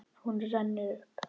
Hún rennur upp.